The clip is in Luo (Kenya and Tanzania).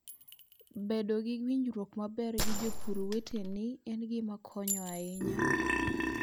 Bedo gi winjruok maber gi jopur weteni en gima konyo ahinya.